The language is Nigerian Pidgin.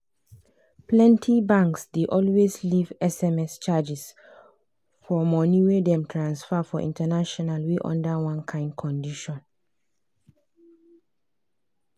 plenty banks dey always leave sms charges for money wey dem transfer for international wey under one kind conditions.